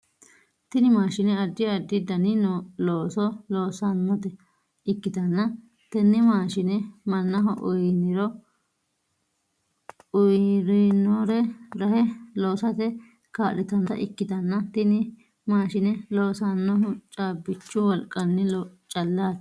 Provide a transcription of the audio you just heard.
Tinni maashine addi addi danni looso loosanota ikitanna tenne maashine mannaho ayirinore rahe loosate kaa'litanota ikitanna tinni maashine loosanohu caabichu wolqanni calaati.